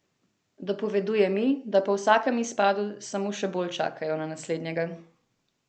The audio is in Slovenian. Dopoveduje mi, da po vsakem izpadu samo še bolj čakajo na naslednjega.